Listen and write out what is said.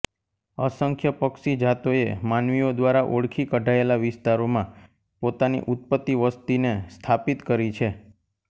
અસંખ્ય પક્ષી જાતોએ માનવીઓ દ્વારા ઓળખી કઢાયેલા વિસ્તારોમાં પોતાની ઉત્પત્તિ વસ્તીને સ્થાપિત કરી છે